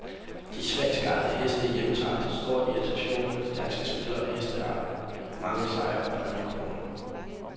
De svenskejede heste hjemtager, til stor irritation for de danske spillere og hesteejere, mange sejre og præmiekroner.